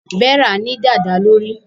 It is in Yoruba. Vera ní dada lórí.